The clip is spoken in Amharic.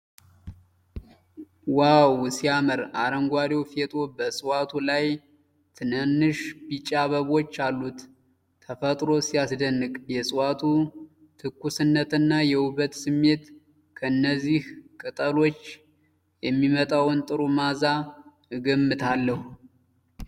ዋው ሲያምር! አረንጓዴው ፌጦ በእፅዋቱ ላይ ትናንሽ ቢጫ አበቦች አሉት። ተፈጥሮ ሲያስደንቅ! የእፅዋቱ ትኩስነትና የውበት ስሜት !!። ከእነዚህ ቅጠሎች የሚመጣውን ጥሩ መዓዛ እገምታለሁ።